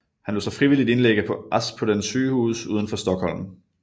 Han lod sig frivilligt indlægge på Aspudden sygehus udenfor Stockholm